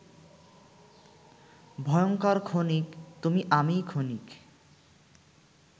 ভয়ঙ্কর ক্ষণিক,-তুমি আমি ক্ষণিক